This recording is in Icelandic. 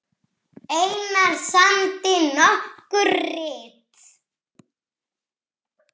Einar samdi nokkur rit